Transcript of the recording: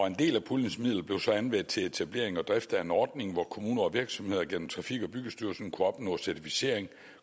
en del af puljens midler blev så anvendt til etablering og drift af en ordning hvor kommuner og virksomheder gennem trafik og byggestyrelsen kunne opnå certificering